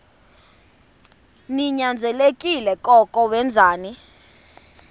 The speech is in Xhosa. ninyanzelekile koko wenzeni